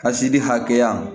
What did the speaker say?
Ka seli hakɛya